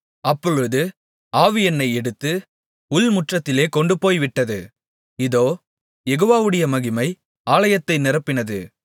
அப்பொழுது ஆவி என்னை எடுத்து உள்முற்றத்திலே கொண்டுபோய்விட்டது இதோ யெகோவாவுடைய மகிமை ஆலயத்தை நிரப்பினது